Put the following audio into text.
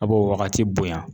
A b'o wagati bonya